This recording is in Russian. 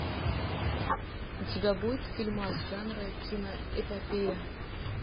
у тебя будет фильмас жанра киноэпопея